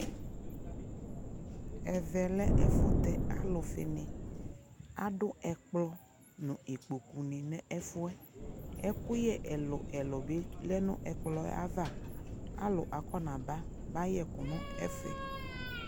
ɛvɛ lɛ ɛfʋ tɛ alʋfi ni, adʋ ɛkplɔ nʋ ikpɔkʋ nʋ ɛfʋɛ ɛkʋyɛ ɛlʋɛlʋ bi lɛnʋ ɛkplɔɛ aɣa alʋ akɔna ba bayɛ ɛkʋ nʋ ɛfɛ